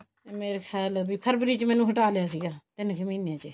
ਮੇਰੇ ਖਿਆਲ ਫਰਬਰੀ ਚ ਮੈਨੂੰ ਹਟਾ ਲਿਆ ਸੀ ਤਿੰਨ ਕੁ ਮਹੀਨੇ